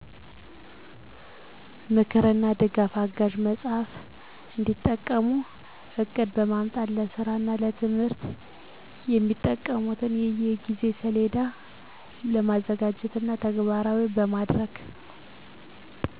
ምክርና ድጋፍ አጋዥ መጽሃፍ እንዲጠቀሙ ዕቅድ በማውጣት ለስራና ለትምህርት የሚጠቀሙበትን የጊዜ ሰሌዳዎችን በማዘጋጀትና ተግባራዊ በማድረግ